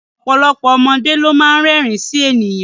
Ọ̀pọ̀lọpọ̀ ọmọdé ló má ń rẹ́rìn ín sí àwọn ènìyàn